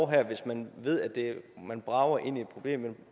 her hvis man ved at man brager ind i et problem